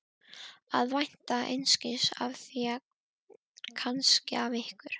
Að vænta einskis af þér kannski af ykkur